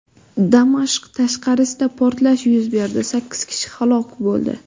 Damashq tashqarisida portlash yuz berdi, sakkiz kishi halok bo‘ldi.